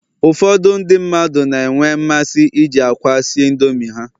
Ụfọdụ ndị mmadụ na-enwe mmasị iji akwa si Indomi ha